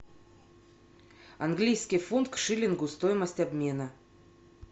английский фунт к шиллингу стоимость обмена